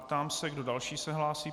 Ptám se, kdo další se hlásí.